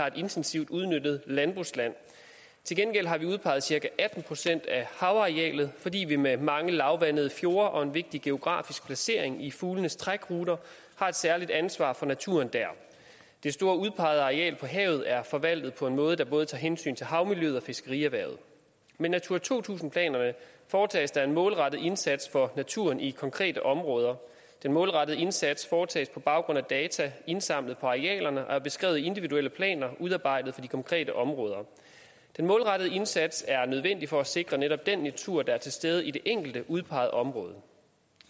et intensivt udnyttet landbrugsland til gengæld har vi udpeget cirka atten procent af havarealet fordi vi med mange lavvandede fjorde og en vigtig geografisk placering i fuglenes trækruter har et særligt ansvar for naturen der det store udpegede areal på havet er forvaltet på en måde der både tager hensyn til havmiljøet og fiskerierhvervet med natura to tusind planerne foretages der en målrettet indsats for naturen i konkrete områder den målrettede indsats foretages på baggrund af data indsamlet på arealerne og er beskrevet i individuelle planer udarbejdet for de konkrete områder den målrettede indsats er nødvendig for at sikre netop den natur der er til stede i det enkelte udpegede område